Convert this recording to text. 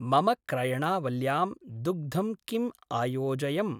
मम क्रयणावल्यां दुग्धं किम् अयोजयम्?